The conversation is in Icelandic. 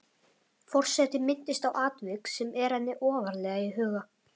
Forseti minnist á atvik sem er henni ofarlega í huga.